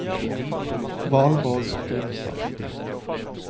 Valborg Grimstad